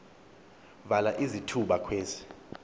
vala izithuba kwezi